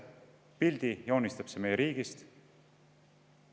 Millise pildi see joonistab meie riigist?